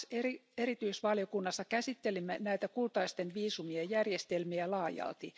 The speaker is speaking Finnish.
TAX3 erityisvaliokunnassa käsittelimme näitä kultaisten viisumien järjestelmiä laajalti.